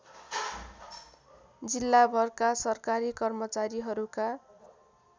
जिल्लाभरका सरकारी कर्मचारीहरूका